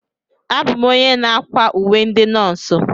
Abụ m onye na-akwa uwe ndị nọọsụ.